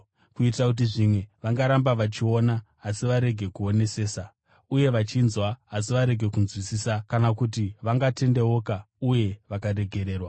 kuitira kuti, “ ‘zvimwe vangaramba vachiona, asi varege kuonesesa; uye vachinzwa, asi varege kunzwisisa; kana kuti vangatendeuka uye vakaregererwa!’ ”